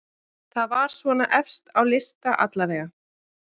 Það var svona efst á lista allavega.